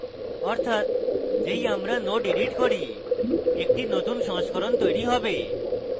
অর্থাৎ যেই আমরা node এডিট করি একটি নতুন সংস্করণ তৈরী হবে